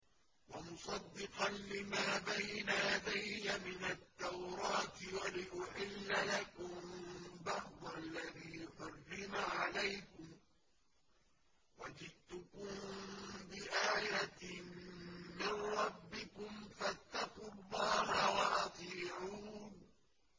وَمُصَدِّقًا لِّمَا بَيْنَ يَدَيَّ مِنَ التَّوْرَاةِ وَلِأُحِلَّ لَكُم بَعْضَ الَّذِي حُرِّمَ عَلَيْكُمْ ۚ وَجِئْتُكُم بِآيَةٍ مِّن رَّبِّكُمْ فَاتَّقُوا اللَّهَ وَأَطِيعُونِ